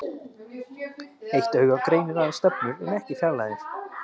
Eitt auga greinir aðeins stefnur en ekki fjarlægðir.